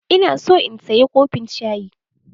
Ina so in saya kofin shayi.